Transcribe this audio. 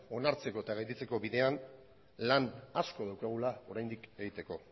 onartzeko eta gelditzeko bidean lan asko daukagula oraindik egiteko